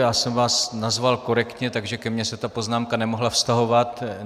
Já jsem vás nazval korektně, takže ke mně se ta poznámka nemohla vztahovat.